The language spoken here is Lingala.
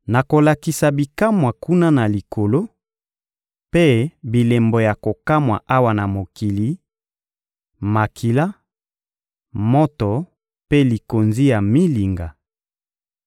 Nakolakisa bikamwa kuna na Likolo, mpe bilembo ya kokamwa awa na mokili: makila, moto mpe likonzi ya milinga.